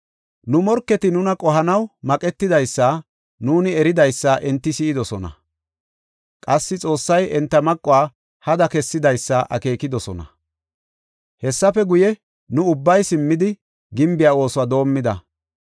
Nu morketi nuna qohanaw maqetidaysa nuuni eridaysa enti si7idosona. Qassi Xoossay enta maquwa hada kessidaysa akeekidosona. Hessafe guye, nu ubbay simmidi, gimbe oosuwa doomida.